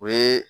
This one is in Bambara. O ye